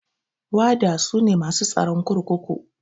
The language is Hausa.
Wada sune masu tsaron kurkuku.